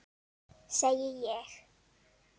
Segi ég.